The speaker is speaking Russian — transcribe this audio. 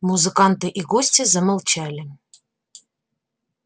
музыканты и гости замолчали